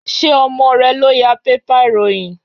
Ṣé ọmọ rẹ ló ya bébà ìròyìn?